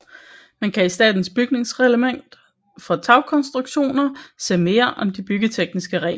Man kan i statens bygningsreglement for tagkonstruktioner se mere om de byggetekniske regler